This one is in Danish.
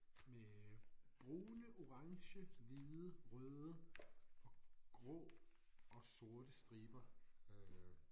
Med brune orange hvide røde og grå og sorte striber øh